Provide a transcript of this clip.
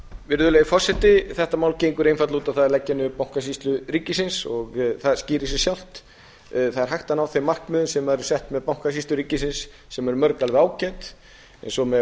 virðulegi forseti þetta mál gengur einfaldlega út á það að leggja niður bankasýslu ríkisins og það skýrir sig sjálft það er hægt að ná þeim markmiðum sem eru sett með bankasýslu ríkisins sem er að mörgu alveg ágæt eins og með